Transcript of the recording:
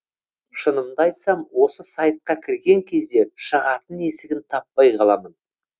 шынымды айтсам осы сайтқа кірген кезде шығатын есігін таппай қаламын